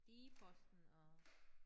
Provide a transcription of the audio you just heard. D-posten og